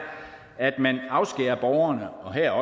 at man afskærer borgerne og her